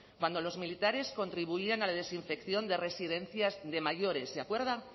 cuando los militares contribuían a la desinfección de residencias de mayores se acuerda